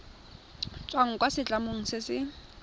tswang kwa setlamong se se